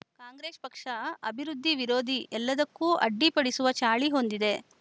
ಕಾಂಗ್ರೆಸ್‌ ಪಕ್ಷ ಅಭಿವೃದ್ಧಿ ವಿರೋಧಿ ಎಲ್ಲದಕ್ಕೂ ಅಡ್ಡಿಪಡಿಸುವ ಚಾಳಿ ಹೊಂದಿದೆ